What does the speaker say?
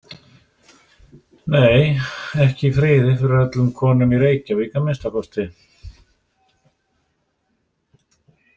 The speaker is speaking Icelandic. Nei, ekki í friði fyrir öllum konunum í Reykjavík að minnsta kosti.